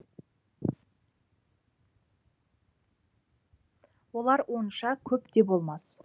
олар онша көп те болмас